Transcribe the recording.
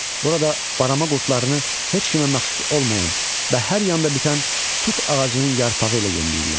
Burada barama qurdlarını heç kimə məxsus olmayan və hər yanda bitən tut ağacının yarpağı ilə yemləyirlər.